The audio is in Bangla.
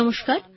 নমস্কার